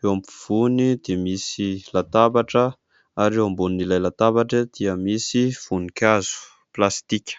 Eo afovoany dia misy latabatra ary eo ambonin'ilay latabatra dia misy voninkazo plastika.